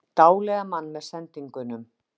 Dáleiða mann með sendingunum